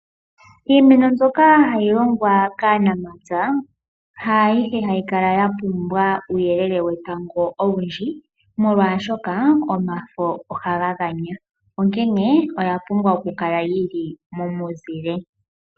Iimeno mbyoka hayi longwa kaanamapya haayihe hayi kala ya pumbwa uuyelele wetango owundji, molwashoka omafo ohaga ganya onkene oya pumbwa okukala yi li momuzile.